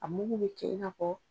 A mugu bɛ kɛ in n'a fɔ